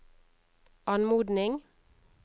anmodning